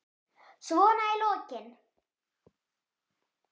Svona í lokin.